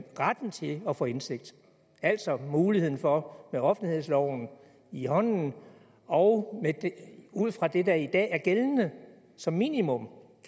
retten til at få indsigt altså muligheden for med offentlighedsloven i hånden og ud fra det der i dag er gældende som minimum